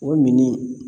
O mini